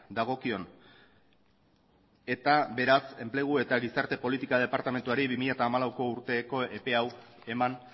dagokion eta beraz enplegu eta gizarte politika departamenduari bi mila hamalau urteko epe hau eman